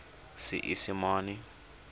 seesimane